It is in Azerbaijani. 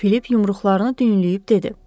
Filip yumruqlarını düyünləyib dedi: